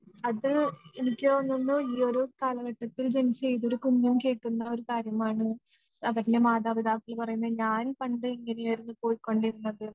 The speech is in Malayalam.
അത് എനിക്ക് തോന്നുന്നു ഈ ഒരു കാലഘട്ടത്തിൽ ജനിച്ച ഏതൊരു കുഞ്ഞും കേൾക്കുന്ന ഒരു കാര്യമാണ് അവൻ്റെ മാതാപിതാക്കൾ പറയുന്നത് ഞാൻ പണ്ട് ഇങ്ങനെയായിരുന്നു പൊയ്‌ക്കൊണ്ടിരുന്നത്